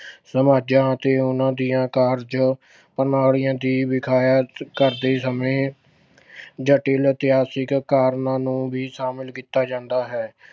ਸਮਾਜਾਂ ਅਤੇ ਉਨ੍ਹਾਂ ਦੇ ਕਾਰਜ ਪ੍ਰਣਾਲੀਆਂ ਦੀ ਵਿਆਖਿਆ ਕਰਦੇ ਸਮੇਂ ਜਟਿਲ ਇਤਿਹਾਸਿਕ ਕਾਰਨਾਂ ਨੂੰ ਵੀ ਸ਼ਾਮਿਲ ਕੀਤਾ ਜਾਂਦਾ ਹੈ।